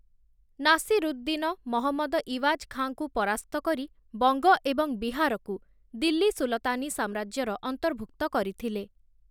ନାସିରୁଦ୍ଦିନ, ମହମ୍ମଦ ଇୱାଜ୍ ଖାଁ ଙ୍କୁ ପରାସ୍ତ କରି, ବଂଗ ଏବଂ ବିହାରକୁ, ଦିଲ୍ଲୀ ସୁଲତାନୀ ସାମ୍ରାଜ୍ୟର ଅର୍ନ୍ତଭୁକ୍ତ କରିଥିଲେ ।